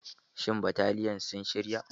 Shin bataliyan sun shira?